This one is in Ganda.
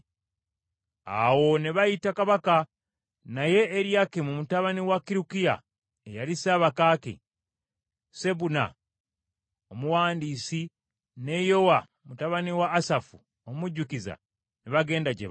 Awo ne bayita kabaka, naye Eriyakimu mutabani wa Kirukiya eyali ssabakaaki, Sebuna omuwandiisi ne Yowa mutabani wa Asafu omujjukiza ne bagenda gye bali.